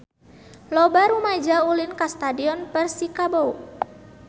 Loba rumaja ulin ka Stadion Persikabo